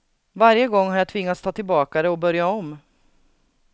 Varje gång har jag tvingats ta tillbaka det och börja om.